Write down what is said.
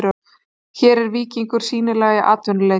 Hér er víkingur sýnilega atvinnuheiti.